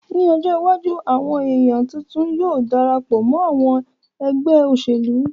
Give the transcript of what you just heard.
Ní ọjọ́ iwájú àwọn èèyàn tuntun yóò Darapọ̀ mọ́ àwọn ẹgbẹ́ òṣèlú